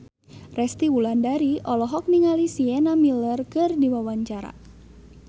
Resty Wulandari olohok ningali Sienna Miller keur diwawancara